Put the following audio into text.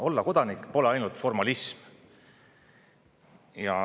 Olla kodanik pole ainult formalism.